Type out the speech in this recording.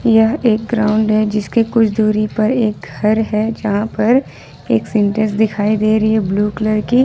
यह एक ग्राउंड हैं जिसके कुछ दूरी पर एक घर है जहां पर एक सिंटेक्स दिखाई ब्लू कलर की।